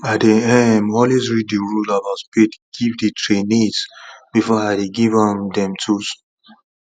i dey um always read the rules about spade give the trainees before i dey give um them tools